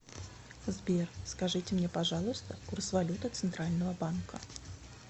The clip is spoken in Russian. сбер скажите мне пожалуйста курс валюты центрального банка